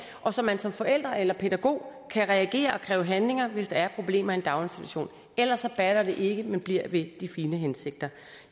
og så man som forældre eller pædagog kan reagere og kræve handling hvis der er problemer i en daginstitution ellers batter det ikke men bliver ved de fine hensigter